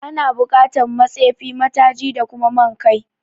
Ana bukatan ma tsefi, ma taji da kuma man kai